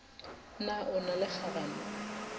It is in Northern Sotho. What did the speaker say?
na o na le kganano